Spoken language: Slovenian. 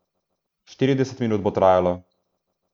Štirideset minut bo trajalo.